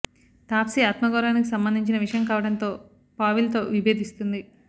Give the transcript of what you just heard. తాప్సి ఆత్మగౌరవానికి సంబంధించిన విషయం కావడంతో పావిల్ తో విభేదిస్తుంది